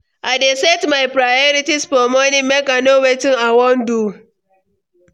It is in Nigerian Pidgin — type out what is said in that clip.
I dey set my priorities for morning make I know wetin I wan do.